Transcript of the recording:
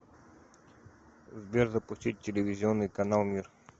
сбер запустить телевизионный канал мир